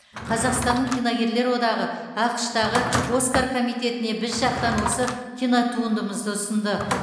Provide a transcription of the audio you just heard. қазақстанның киногерлер одағы ақш тағы оскар комитетіне біз жақтан осы кинотуындымызды ұсынды